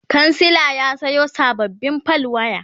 kansila ya Sayo sababbin fal waya